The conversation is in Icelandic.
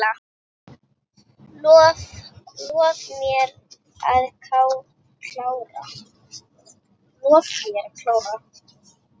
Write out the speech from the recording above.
Lof mér að klára.